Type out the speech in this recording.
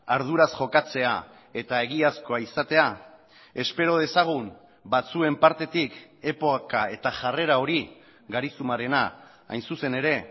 arduraz jokatzea eta egiazkoa izatea espero dezagun batzuen partetik epoka eta jarrera hori garizumarena hain zuzen ere